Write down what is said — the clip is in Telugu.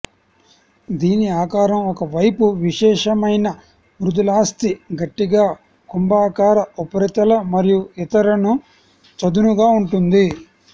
దీని ఆకారం ఒక వైపు విశేషమైన మృదులాస్థి గట్టిగా కుంభాకార ఉపరితల మరియు ఇతర న చదునుగా ఉంటుంది